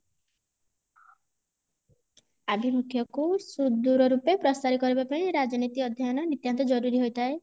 ଆଭିମୁଖ୍ଯ କୁ ସୁଦୂର ରୂପେ ପ୍ରସାର କରିବା ପାଇଁ ରାଜନୀତି ଅଧ୍ୟୟନ ନିତ୍ୟାନ୍ତ ଜରୁରୀ ହୋଇଥାଏ